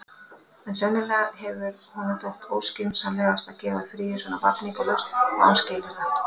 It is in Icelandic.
En sennilega hefur honum þótt óskynsamlegt að gefa fríið svona vafningalaust og án skilyrða.